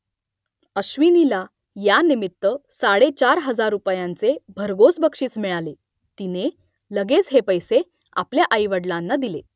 अश्विनीला यानिमित्त साडेचार हजार रुपयांचे भरघोस बक्षीस मिळाले तिने लगेच हे पैसे आपल्या आईवडलांना दिले